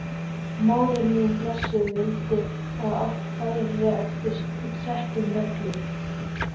Móðir mín blessuð vildi að allt færi eftir settum reglum.